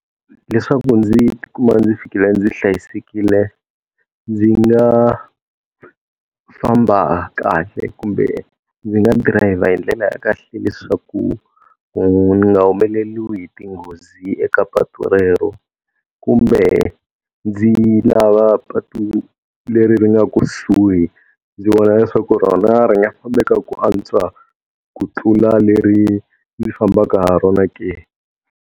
Leswaku ndzi ti kuma ndzi fikile ndzi hlayisekile, ndzi nga famba kahle kumbe ndzi nga drayiva hi ndlela ya kahle leswaku ni nga humeleriwi hi tinghozi eka patu rero. Kumbe ndzi lava patu leri ri nga kusuhi, ndzi vona leswaku rona ri nga fambeka ku antswa ku tlula leri ndzi fambaka ha rona ke.